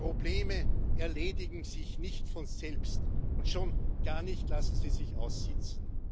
Die Probleme erledigen sich nicht von selbst, und schon gar nicht lassen sie sich aussitzen.